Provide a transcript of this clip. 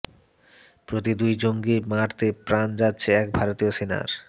প্রতি দুই জঙ্গি মারতে প্রাণ যাচ্ছে এক ভারতীয় সেনার